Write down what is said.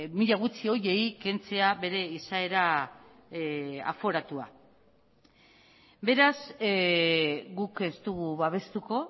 mila gutxi horiei kentzea bere izaera aforatua beraz guk ez dugu babestuko